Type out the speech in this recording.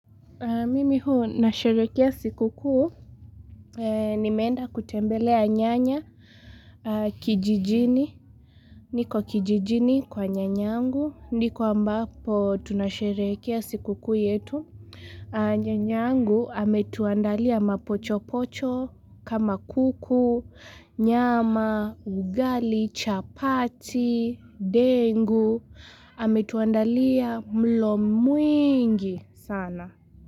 Mimi huu, nasherekea siku kuu, nimeenda kutembelea nyanya kijijini. Niko kijijini kwa nyanyangu, ndiko ambapo tunasherehekea siku kuu yetu. Nyanyangu, ametuandalia mapochopocho, kama kuku, nyama, ugali, chapati, dengu. Ametuandalia mlo mwingi sana.